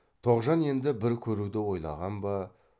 тоғжан енді бір көруді ойлаған ба